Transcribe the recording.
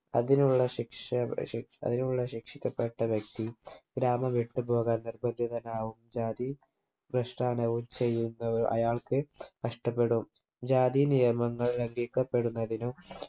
അതിനുള്ള ശിക്ഷ ശിക് അതിനുള്ള ശിക്ഷിക്കപ്പെട്ട വ്യക്തി ഗ്രാമം വിട്ടുപോകാൻ നിർബന്ധിതനാവും ജാതി വൃഷ്ഠാനവും ചെയ്യൂന്ന അയാൾക്ക് നഷ്ടപ്പെടും ജാതി നിയമങ്ങൾ ലംഘിക്കപ്പെടുന്നതിനും